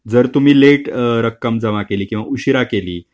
जर तुम्ही लेट रक्कम जमा केली किंवा उशिरा केली.